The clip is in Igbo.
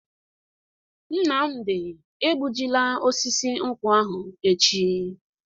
Nnamdi egbu ji la osisi nkwu ahụ echi!